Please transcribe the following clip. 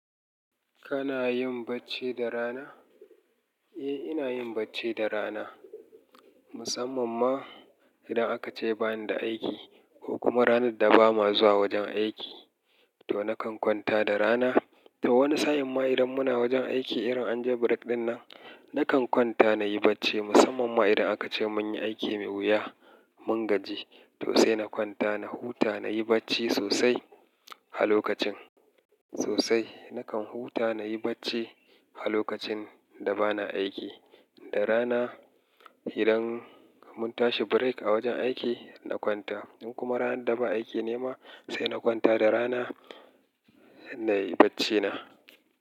Kana yin bacci da rana? Eh, ina yin bacci da rana. Musamman ma idan aka ce bani da aiki ko kuma ranar da ba ma zuwa wajen aiki, to nakan kwanta da rana. To wani sa'in ma idan muna wajen aiki, irin an je break dinnan, nakan kwanta na yi bacci. Musamman ma idan aka ce mun yi aiki mai wuya, mun gaji, to sai na kwanta na huta, na yi bacci sosai a lokacin. Sosai, nakan huta na yi bacci a lokacin da bana aiki. Da rana idan mun tashi break a wajen aiki, na kwanta. In kuma ranar da ba aiki ne ma sai na kwanta da rana na yi bacci na.